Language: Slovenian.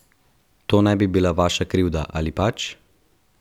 To ne bi bila vaša krivda, ali pač?